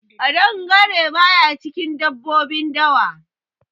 Ƙadangare baya cikin dabbobi dawa.